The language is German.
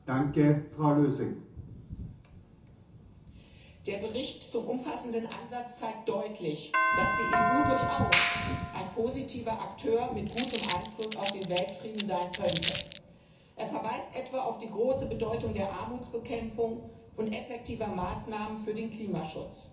Herr Präsident! Der Bericht zum umfassenden Ansatz zeigt deutlich, dass die EU durchaus ein positiver Akteur mit gutem Einfluss auf den Weltfrieden sein könnte er verweist etwa auf die große Bedeutung der Armutsbekämpfung und effektiver Maßnahmen für den Klimaschutz,